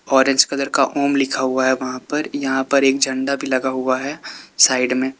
Orange colour का ओम लिखा हुआ है वहां पर यहां पर एक झंडा भी लगा हुआ है साइड में।